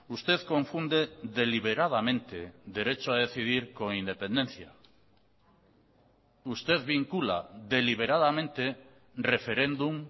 usted confunde deliberadamente derecho a decidir con independencia usted vincula deliberadamente referéndum